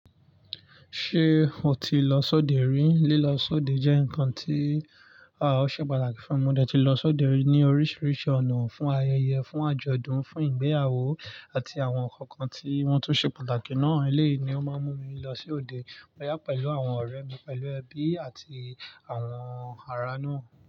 Ṣé o ti lọ sóde rí? Lílọ sóde jẹ́ nǹkan tí a ò ṣe pàtàkì fúnmi. Mo dẹ̀ ti lọ sóde ní oríṣiríṣi ọ̀nà, fún ayẹyẹ, fún àjọ̀dún, fún ìgbéyàwó àti àwọn nǹkan tí wọ́n tó ṣe pàtàkì náà. Elẹ́yìí ni ó máa ń mú mi lọ sóde, bóyá pẹ̀lú àwọn ọ̀rẹ́ mi, pẹ̀lú ẹbí àti àwọn ara náà.